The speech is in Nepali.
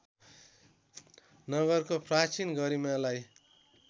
नगरको प्राचीन गरिमालाई